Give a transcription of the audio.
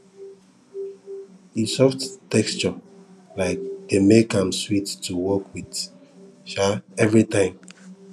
e soft texture um dey make am sweet to work with um every time